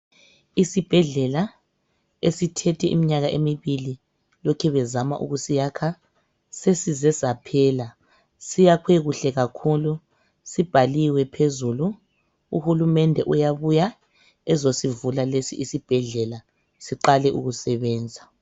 Isibhedlela esithethe iminyaka emibili lokhe bezama ukusiyakha ,sesize saphela siyakhwe kuhle kakhulu .Sibhaliwe phezulu, uhulumende uyabuya ezosivula lesi isibhedlela siqale ukusebenza.